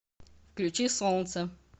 включи солнце